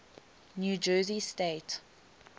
new jersey state